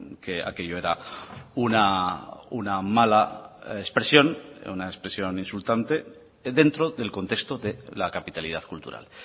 que aquello era una mala expresión una expresión insultante dentro del contexto de la capitalidad cultural